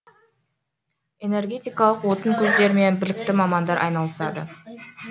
энергетикалық отын көздерімен білікті мамандар айналысады